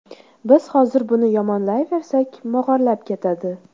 Biz hozir buni yomonlayversak, mog‘orlab ketadi.